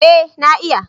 Eh na iya